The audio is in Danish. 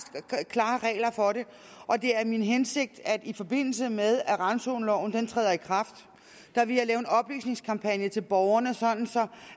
klare regler for det og det er min hensigt at i forbindelse med at randzoneloven træder i kraft vil lave en oplysningskampagne til borgerne sådan